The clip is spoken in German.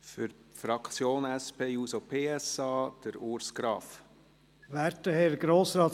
Für die Fraktion der SP-JUSO-PSA: Grossrat Graf.